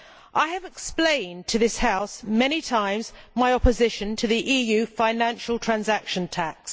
I have explained to this House many times my opposition to the EU financial transaction tax.